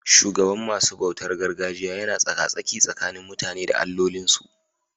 Shugaban masu bautar gargajiya yana tsaka-tsaki tsakanin mutane da allolinsu.